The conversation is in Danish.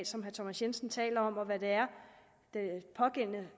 som herre thomas jensen taler om og hvad det er